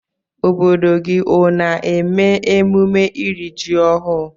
Obodo gi ona eme emume iri ji ohụ?